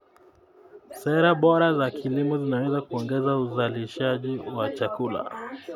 Sera bora za kilimo zinaweza kuongeza uzalishaji wa chakula.